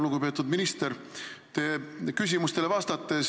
Lugupeetud minister!